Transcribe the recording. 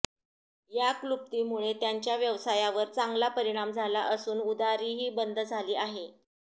या क्लुप्तीमुळे त्यांच्या व्यवसायावर चांगला परिमाण झाला असून उधारीही बंद झाली आहे